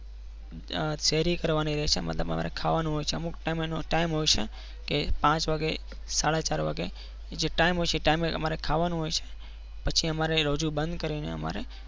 અ ફેરી કરવાની રહે છે મતલબ અમારે ખાવાનું હોય છે. અમુક time હોય છે એ પાંચ વાગ્યે સાડા ચાર વાગે જે time હોય છે એ time એ ખાવાનું હોય છે અમારે પછી અમારે રોજો બંધ કરીને અમારે